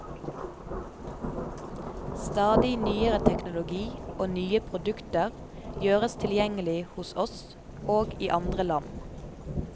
Stadig nyere teknologi og nye produkter gjøres tilgjengelig hos oss og i andre land.